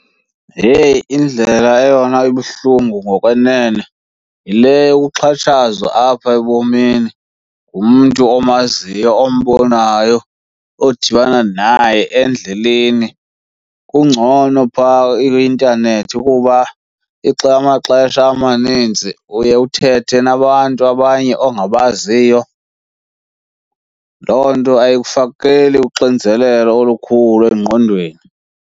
Heyi, indlela eyona ibuhlungu ngokwenene yile yokuxhatshazwa apha ebomini ngumntu omaziyo ombonayo, odibana naye endleleni. Kungcono phaa kwi-internet kuba amaxesha amaninzi uye uthethe nabantu abanye ongabaziyo. Loo nto ayikufakele uxinzelelo olukhulu engqondweni.